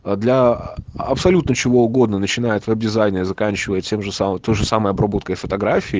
для абсолютно чего угодно начинает обрезание заканчивается тем же самым тоже самое обработка фотографий